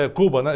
É Cuba, né?